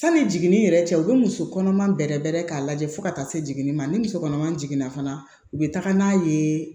Sani jiginni yɛrɛ cɛ u bɛ muso kɔnɔma bɛrɛ bɛrɛ k'a lajɛ fo ka taa se jiginni ma ni muso kɔnɔma jiginna fana u bɛ taga n'a ye